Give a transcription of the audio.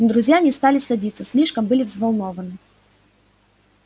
но друзья не стали садиться слишком были взволнованны